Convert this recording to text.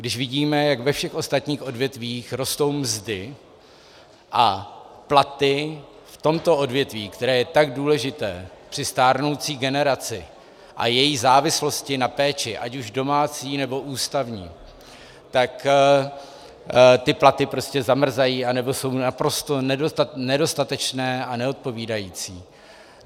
Když vidíme, jak ve všech ostatních odvětvích rostou mzdy a platy v tomto odvětví, které je tak důležité, při stárnoucí generaci a její závislosti na péči, ať už domácí, nebo ústavní, tak ty platy prostě zamrzají anebo jsou naprosto nedostatečné a neodpovídající?